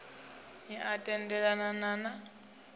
ni a tendelana na na